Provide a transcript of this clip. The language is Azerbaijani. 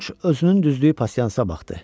Corc özünün düzdüyü pasyansa baxdı.